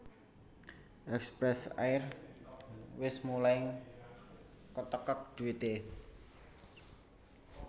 Express Air wes mulai ketekek duite